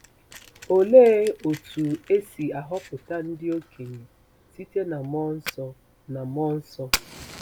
Olee otú e si ahọpụta ndị okenye site na mmụọ nsọ na mmụọ nsọ?